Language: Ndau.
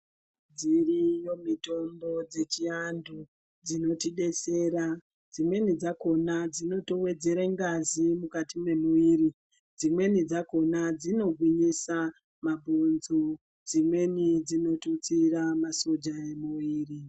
Dziriyo mitombo dzechiandu dzinotidetsera dzimweni dzakona dzinotowedzera ngazi mukati memuiri, dzimweni dzakona dzinogwinyisa mabhonzo, dzimweni dzinotutsira masoja emuiri.